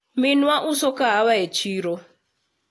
minwa uso kahawa e chiro